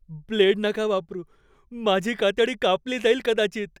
Blade नका वापरू. माझी कातडी कापली जाईल कदाचित.